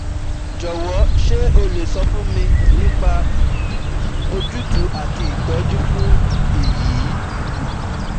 Jọ̀wọ́, ṣé o lè sọ fún mi nípa òjútùú àti ìtọ́jú fún èyí?